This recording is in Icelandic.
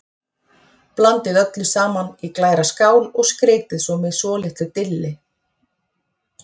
Blandið öllu saman í glæra skál og skreytið með svolitlu dilli.